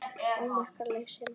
ómerkt lausn